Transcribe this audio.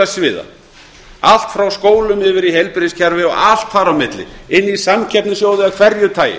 samfélagssviða allt frá skólum yfir í heilbrigðiskerfi og allt þar á milli inn í samkeppnissjóði af hverju tagi